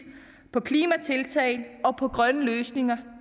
på klimatiltag og på grønne løsninger